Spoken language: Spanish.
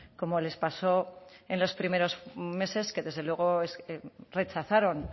como les pasó en los primeros meses que desde luego rechazaron